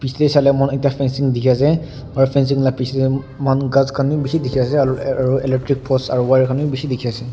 pichetey sai ley moi khan ekta fencing dikhi ase aro fencing la pichetey monhan ghas b bishi dikhi ase ar aro electric post aro wire khan b bishi dikhi ase.